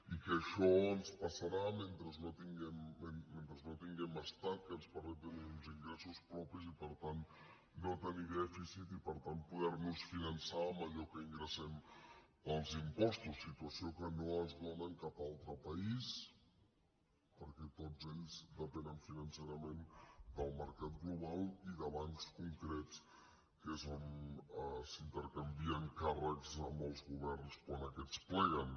i això ens passarà mentre no tinguem estat que ens permeti tenir uns ingressos propis i per tant no tenir dèficit i per tant poder nos finançar amb allò que ingressem pels impostos situació que no es dóna en cap altre país perquè tots ells depenen financerament del mercat global i de bancs concrets que és on s’intercanvien càrrecs amb els governs quan aquests pleguen